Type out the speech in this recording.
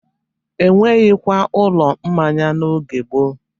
E nweghikwa ụlọ mmanya n'oge gboo.